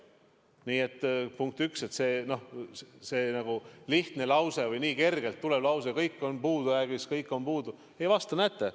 Nii et, punkt üks, see lihtne või nii kergelt tulev lause "Kõik on puudujäägis, kõik on puudu" ei vasta tõele.